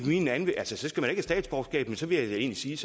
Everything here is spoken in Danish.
have statsborgerskab men så vil jeg egentlig sige